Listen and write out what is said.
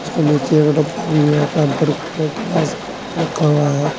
इसके नीचे एक डब्बा भी है एक गिलास रखा हुआ है।